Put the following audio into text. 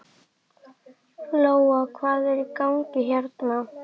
Lóa: Hvað er í gangi hérna?